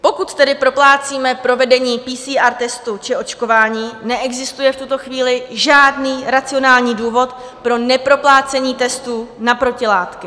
Pokud tedy proplácíme provedení PCR testu či očkování, neexistuje v tuto chvíli žádný racionální důvod pro neproplácení testů na protilátky.